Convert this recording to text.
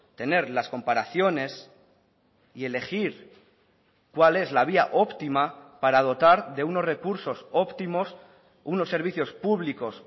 tener las comparaciones y elegir cuál es la vía óptima para dotar de unos recursos óptimos unos servicios públicos